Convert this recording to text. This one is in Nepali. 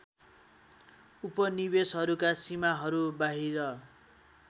उपनिवेसहरूका सीमाहरू बाहिर